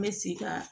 N bɛ se ka